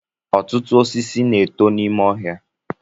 Ọtụtụ osisi na-eto n'ime ọhịa